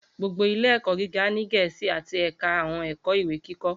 Gbogbo ile-ẹkọ giga ni Gẹẹsi ati ẹka awọn ẹkọ iwe-kikọ